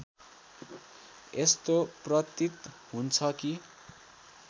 यस्तो प्रतीत हुन्छ कि